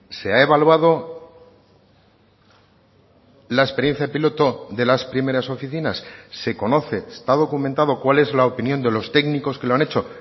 se ha evaluado la experiencia piloto de las primeras oficinas se conoce está documentado cuál es la opinión de los técnicos que lo han hecho